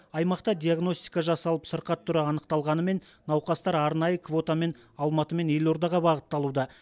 аймақта диагностика жасалып сырқат түрі анықталғанымен науқастар арнайы квотамен алматы мен елордаға бағытталуда